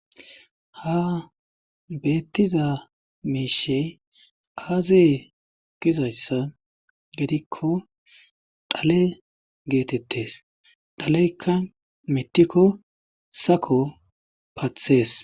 Ha beettiza miishshi aaze gizayssa gidikko dhale geetettes dhalekka mithiko sako pathes.